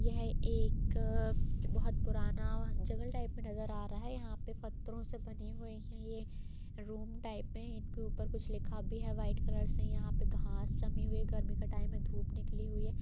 यह एक बहुत पुराना जंगल टाइप का नजर आ रहा है यहां पत्थरों से बने हुई है रूम टाइप में हैं इनके ऊपर कुछ लिखा भी है वाइट कलर से यहाँ पे घास जमी हुयी है गर्मी का टाइम है धुप निकली हुयी है।